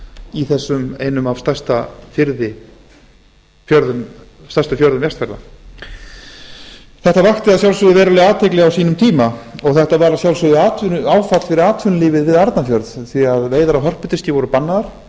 í þessum einum af stærstu fjörðum vestfjarða þetta vakti að sjálfsögðu verulega athygli á sínum tíma og þetta var að sjálfsögðu áfall fyrir atvinnulífið við arnarfjörð því að veiðar á hörpudiski voru bannaðar